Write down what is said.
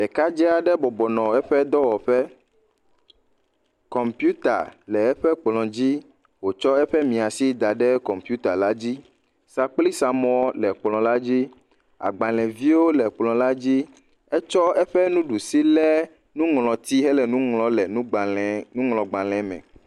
Ɖekadzɛ aɖe bɔbɔ nɔ eƒe dɔwɔƒe. Kɔmpiuta le eƒe kplɔ̃dzi eye wòtsɔ miãsi da ɖe kɔmpiutala dzi. Sakplisamɔ le kplɔ̃la dzi. Agbalẽviwo le kplɔ̃la dzi. Etsɔ eƒe nuɖusi lé nuŋlɔti hele nuŋlɔm le nugbalẽ, nuŋlɔgbalẽeme.